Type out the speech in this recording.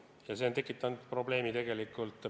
Ja see on tekitanud probleemi.